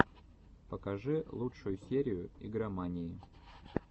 покажи лучшую серию игромании